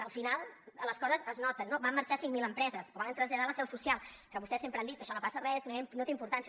al final les coses es noten no van marxar cinc mil empreses o van traslladar la seu social que vostès sempre han dit que això no passa res que no té importància